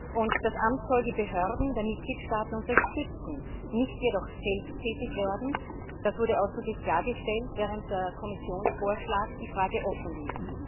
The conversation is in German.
Außerdem soll das Amt die Behörden der Mitgliedstaaten unterstützen, nicht jedoch selbst tätig werden das wurde ausdrücklich klargestellt, während der Kommissionsvorschlag die Frage offen ließ.